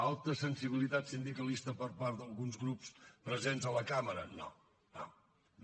alta sensibilitat sindicalista per part d’alguns grups presents a la cambra no no